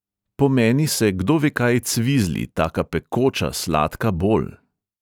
Po meni se kdovekaj cvizli, taka pekoča sladka bol.